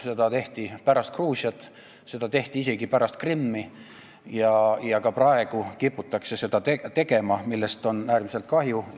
Seda tehti pärast Gruusiat, seda tehti isegi pärast Krimmi ja ka praegu kiputakse seda tegema, millest on äärmiselt kahju.